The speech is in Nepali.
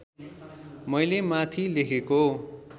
मैले माथि लेखेको